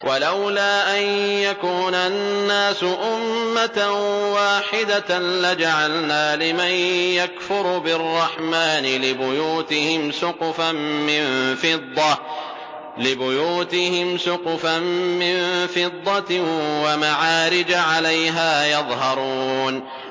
وَلَوْلَا أَن يَكُونَ النَّاسُ أُمَّةً وَاحِدَةً لَّجَعَلْنَا لِمَن يَكْفُرُ بِالرَّحْمَٰنِ لِبُيُوتِهِمْ سُقُفًا مِّن فِضَّةٍ وَمَعَارِجَ عَلَيْهَا يَظْهَرُونَ